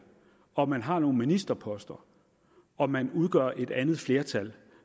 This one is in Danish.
og man har nogle ministerposter og man udgør et andet flertal